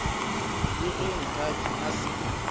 le ge nkabe a se